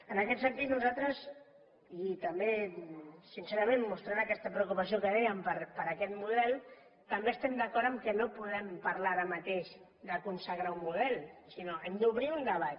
en aquest sentit nosaltres i també sincerament mostrant aquest preocupació que dèiem per aquest model també estem d’acord que no podem parlar ara mateix de consagrar un model sinó que hem d’obrir un debat